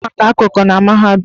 A na-agụ maka okooko na mahadum.